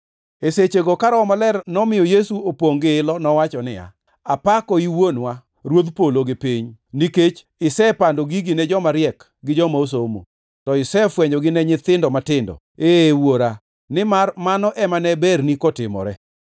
E sechego ka Roho Maler nomiyo Yesu opongʼ gi ilo, nowacho niya, “Apakoi, Wuonwa, Ruodh polo gi piny, nikech isepando gigi ne joma riek gi joma osomo, to isefwenyogi ne nyithindo matindo. Ee, Wuora, nimar mano ema ne berni kotimore.